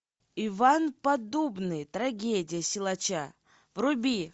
иван поддубный трагедия силача вруби